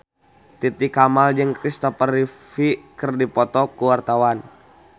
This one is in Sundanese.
Titi Kamal jeung Kristopher Reeve keur dipoto ku wartawan